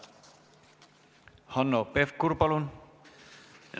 Hanno Pevkur, palun!